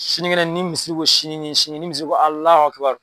Sinikɛnɛ ni misiri ko sini nin sini ni misiri ko